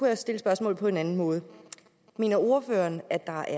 jeg stille spørgsmålet på en anden måde mener ordføreren at der